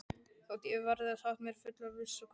Þótt ekki verði sagt með fullri vissu, hvort þeir